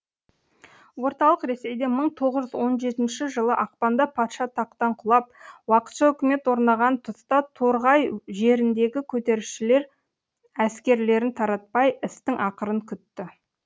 орталық ресейде мың тоғыз жүз он жетінші жылы ақпанда патша тақтан құлап уақытша үкімет орнаған тұста торғай жеріндегі көтерілісшілер әскрлерін таратпай істің ақырын күтті